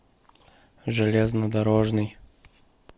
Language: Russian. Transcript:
железнодорожный